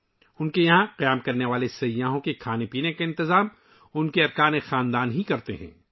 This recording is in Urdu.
ان کے یہاں رکنے والے سیاحوں کے لیے کھانے پینے کا انتظام ، ان کا خاندان ہی کرتا ہے